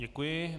Děkuji.